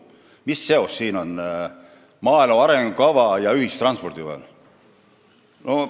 Mis seos on maaelu arengukava ja ühistranspordi vahel?